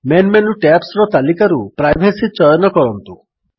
main menu ଟ୍ୟାବ୍ସର ତାଲିକାରୁ privacy ଚୟନ କରନ୍ତୁ